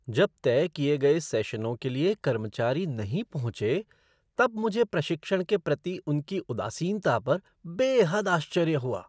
जब तय किए गए सेशनों के लिए कर्मचारी नहीं पहुँचे तब मुझे प्रशिक्षण के प्रति उनकी उदासीनता पर बेहद आश्चर्य हुआ।